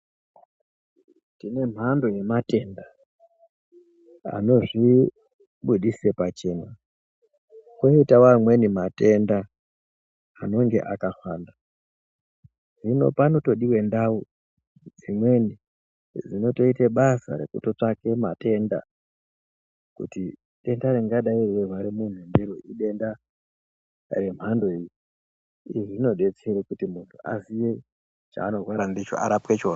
Tine mhando yematenda anozvibudisa pachena, koyitawo amweni matenda anenge akahwanda, hino panotodiwa ndau dzimweni dzinotoyita basa rekutotsvake matenda kuti denda ringadayi reyirwara muntu ndiro idenda remhandoyi, iri rinodetsera kuti muntu aziye chaanorwara ndicho arapwe chona.